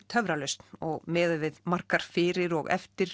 töfralausn og miðað við margar fyrir og eftir